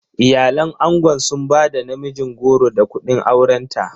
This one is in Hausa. Iyalan angon sun ba da namijin goro da kuɗin aurenta.